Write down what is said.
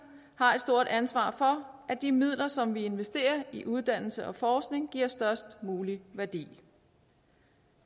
har et stort ansvar for at de midler som vi investerer i uddannelse og forskning giver størst mulig værdi